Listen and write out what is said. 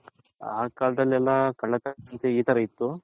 ಆ ಕಾಲದಲ್ಲಿ ಎಲ್ಲಾ ಈ ತರ ಇತ್ತು